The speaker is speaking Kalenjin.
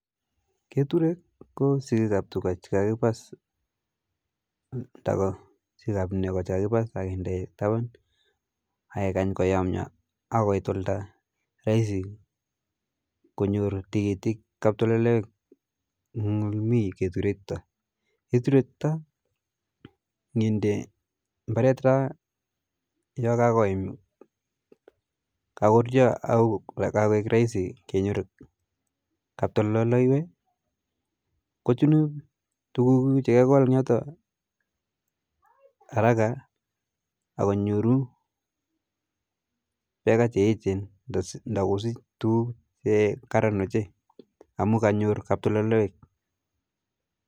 Keturek ko sikik ap tuka che kakipas ndak ko sikik ap neko che kakinde taban ak kekany konyomyo akoi koit oldo raisi konyor tikitik kaptololoek eng ole mii keturek chuto, keturek chuto nginde mbaret raa yo kakoim, kakoruyo ako kakoek raisi kenyor kaptololoek kochunu tukuk kuuk che kekol eng yote haraka akonyoru beka che echen nda kosich tukuk che echen amu kanyor kaptololoiwek